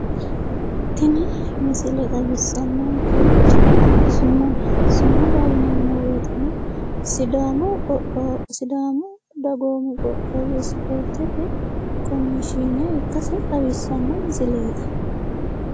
Tini misile xawissannonkerichi sumudaho. sumuda yineemmo woyiteno sidaamu dagoomi qoqqowi isipoortete komishiine ikkase xawissanno misileeti,